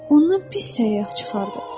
Ondan pis səyyah çıxardı.